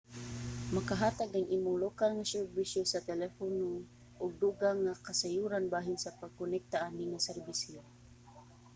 makahatag ang imong lokal nga serbisyo sa telepono og dugang nga kasayuran bahin sa pagkonekta ani nga serbisyo